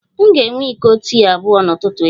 M ga-enwe iko tii abụọ n'ụtụtụ echi